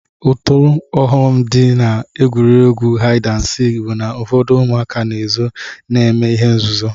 Otu ọghọm m dị n'egwuregwu haịd and sik bụ na ụfọdụ ụmụaka na-ezo eme ihe nzuzu